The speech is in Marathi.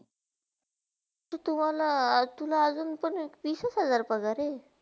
तर तुम्हला तुला अजून वीसस हजार पगार हय?